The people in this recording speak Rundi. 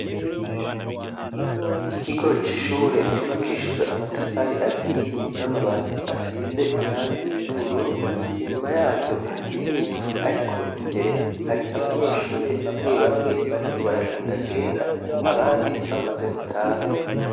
Ikigo c'ishure cubakishijwe amatafari ahiye n'amabati asize irangi ry'ubururu, inyuma yaryo hari ibiti, ariko imbere hari abanyeshure bamwe bamwe bariko baragendagenda, abandi bamaze gutaha.